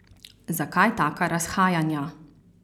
Zakaj taka razhajanja?